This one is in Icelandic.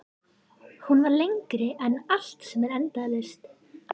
Fullyrti, að við tækjumst í hendur.